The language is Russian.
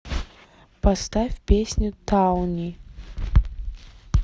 поставь песню тауни